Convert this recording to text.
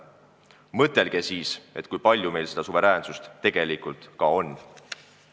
Mõtelge siis, kui palju meil seda suveräänsust tegelikult on!